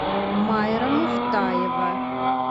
майра муфтаева